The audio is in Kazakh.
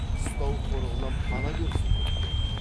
қыстау қорығынан пана берсін көпке